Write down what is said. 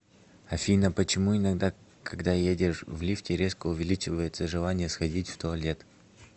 афина почему иногда когда едешь в лифте резко увеличивается желание сходить в туалет